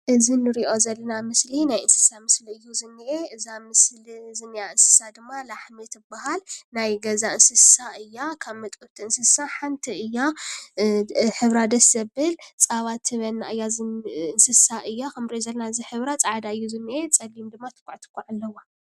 እዚ ንሪኦ ዘለና ምስሊ ናይ እንስሳ ምስሊ እዩ ዝኒኤ፡፡ እዛ ምስሊ ኣብዚ ምስሊ ዝኒኣ ድማ ላሕሚ ትበሃል፡፡ ናይ ገዛ እንስሳ እያ፡፡ ካብ መጠበውቲ እንስሳ ሓንቲ እያ፡፡ ሕብራ ደስ ዘብል ፀባ ትህበና እያ እንስሳ እያ፡፡ ከምንሪኦ ዘለና እዚ ሕብራ ፃዕዳ እዩ ዝኒኤ፡፡ ፀሊም ድማ ትኳዕ ትኳዕ ኣለዋ፡፡